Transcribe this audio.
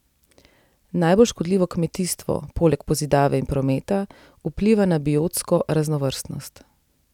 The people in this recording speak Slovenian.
Najbolj škodljivo kmetijstvo, poleg pozidave in prometa, vpliva na biotsko raznovrstnost.